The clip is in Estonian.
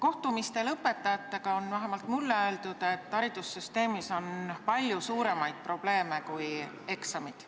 Õpetajatega peetud kohtumistel on vähemalt mulle öeldud, et haridussüsteemis on palju suuremaid probleeme kui eksamid.